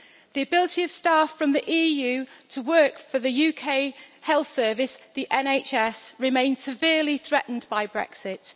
The ability of staff from the EU to work for the UK health service the NHS remains severely threatened by Brexit.